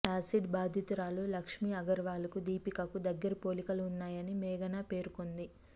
acid బాధితురాలు లక్ష్మీ అగర్వాల్ కు దీపికకు దగ్గరి పోలికలు ఉన్నాయని మేఘన పేర్కొంది